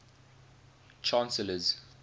chancellors